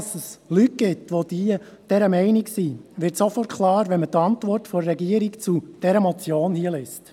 Warum es Leute gibt, die dieser Meinung sind, wird sofort klar, wenn man die Antwort der Regierung zu dieser Motion liest.